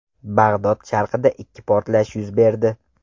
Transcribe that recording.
Bag‘dod sharqida ikki portlash yuz berdi.